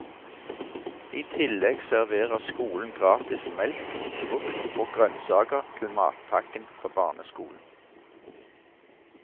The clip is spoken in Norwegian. I tillegg serverer skolen gratis melk og frukt og grønnsaker til matpakken på barneskolen.